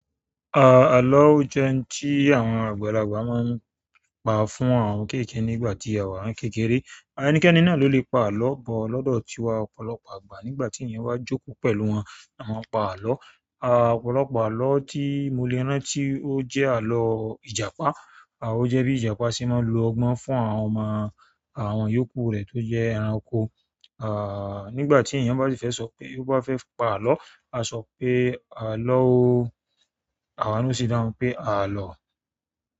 Ààlọ́ o jẹ́ ohun tí àwọn àgbàlagbà ma n pa fún àwọn kéékèé nígbàtí àwa n kékeré. Ẹnikẹ́ni náà lo lè pa àlọ́ bọ̀ lọ́dọ̀ tiwa ọ̀pọ̀lọpọ̀ àgbà nígbàtí èèyàn bá jókòó pẹ̀lú wọn, wọ́n máa n pa àlọ́. Ọ̀pọ̀lọpọ̀ àlọ́ tí mo lè rání ti ó jẹ́ àlọ́ ìjàpá. O jẹ́ bí ìjàpá ṣe máa lo ọgbọ́n fún àwọn ọmọ àwọn iyòókù rè tó jẹ́ ẹranko. Àà nígbàtí èèyàn bá fẹ́ sọ pé ò bá fẹ́ pa àlọ́, a sọ pé àlọ́o, àwọn náà sì dáhùn pé àlọ́.